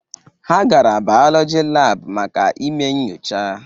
Ha gara bọyọlọjị laabụ maka ime nchọcha.